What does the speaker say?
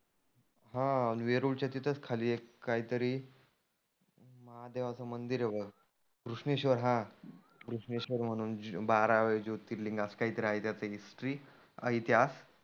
हा वेरुळ च्या तीथंच खाली एक काही तरी महादेवाच मंदिर आहे बघ. घृष्णेश्वर हा, घृष्णेश्वर म्हणुन बारावे ज्योतिर्लींग असं काही तरी आहे त्याची हिस्टरी इतिहास.